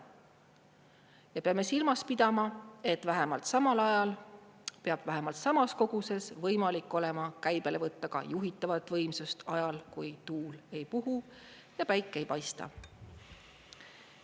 Me peame silmas pidama, et vähemalt samal ajal peab vähemalt samas koguses võimalik olema käibele võtta ka juhitavat võimsust ajal, kui tuul ei puhu ja päike ei paista.